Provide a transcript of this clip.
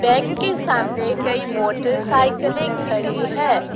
Bank के सामने कई मोटरसाइकिले खड़ी है।